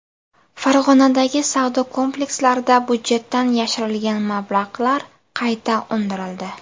Farg‘onadagi savdo komplekslarida budjetdan yashirilgan mablag‘lar qayta undirildi.